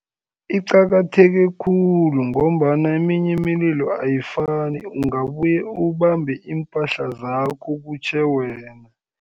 Iqakatheke khulu, ngombana eminye imililo ayifani, ungabuye ubambe iimpahla zakho kutjhe wena.